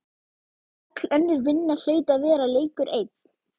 Öll önnur vinna hlaut að vera leikur einn